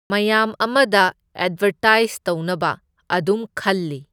ꯃꯌꯥꯝ ꯑꯃꯗ ꯑꯦꯗꯕꯔꯇꯥꯏꯁ ꯇꯧꯅꯕ ꯑꯗꯨꯝ ꯈꯜꯂꯤ꯫